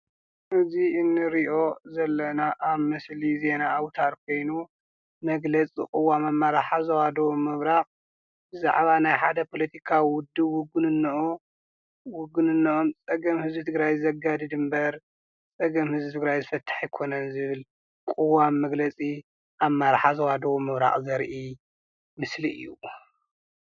እዚ እንሪኦ ዘለና ኣብ ምስሊ ዜና ኣውታር ኮይኑ መግለፂ ቅዋም ኣመራርሓ ዞባ ደቡብ ምብራቅ ብዛዕባ ናይ ሓደ ፖለቲካ ውድብ ውግንንኡ ውግንነኦም ፀገም ህዝቢ ትግራይ ዘጋድድ እምበር ፀገም ህዝቢ ትግራይ ዝፈትሕ እይኮነን ዝብል ቅዋም መግለፂ ኣመራርሓ ዞባ ደቡብ ምብራቅ ዘርኢ ምስሊ እዩ።